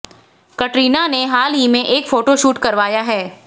कटरीना ने हाल ही में एक फोटो शूट करवाया है